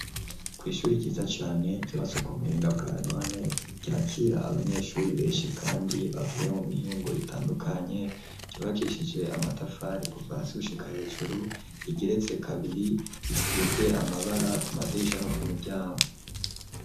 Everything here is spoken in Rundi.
kw'ishuri ryiza cane ryubatswe ku buhinga bwa none, ryakira abanyeshuri benshi kandi bavuye mu mihingo itandukanye, ryubakishije amatafari kuva hasi gushika hejuru, rigeretse kabiri risize amabara ku madirisha no ku miryango.